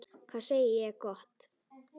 Hvað segi ég gott?